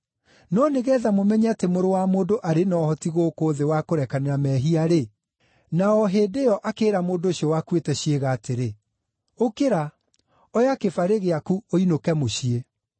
No nĩgeetha mũmenye atĩ Mũrũ wa Mũndũ arĩ na ũhoti gũkũ thĩ wa kũrekanĩra mehia-rĩ ….” Na o hĩndĩ ĩyo akĩĩra mũndũ ũcio wakuĩte ciĩga atĩrĩ, “Ũkĩra, oya kĩbarĩ gĩaku ũinũke mũciĩ.”